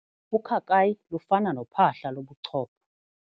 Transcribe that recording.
Ukhakayi lufana nophahla lobuchopho.